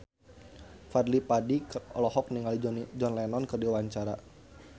Fadly Padi olohok ningali John Lennon keur diwawancara